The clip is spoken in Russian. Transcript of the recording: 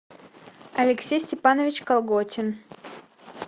алексей степанович колготин